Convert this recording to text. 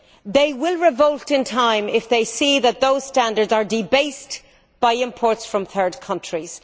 They will revolt in time if they see that those standards are debased by imports from third countries.